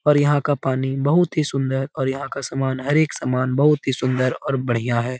और यहा का पानी बहुत ही सुंदर और यहा का समान हर एक समान बहुत ही सुंदर और बढ़िया है।